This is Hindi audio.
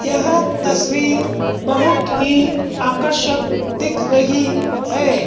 यह तस्वीर बहुत ही आकर्षक दिख रही है।